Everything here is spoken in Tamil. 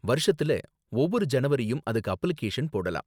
வருஷத்துல ஒவ்வொரு ஜனவரியும் அதுக்கு அப்ளிகேஷன் போடலாம்.